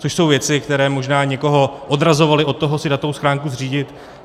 Což jsou věci, které možná někoho odrazovaly od toho si datovou schránku zřídit.